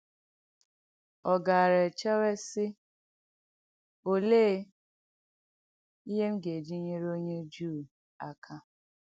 Ọ gàarà echèwe, sị: ‘Òlee ihe m ga-eji nyere onye Jùù aka?’